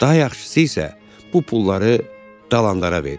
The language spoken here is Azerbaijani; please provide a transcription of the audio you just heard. Daha yaxşısı isə, bu pulları dalandara ver.